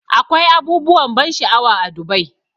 Akwai abubuwan ban sha'awa a Dubai.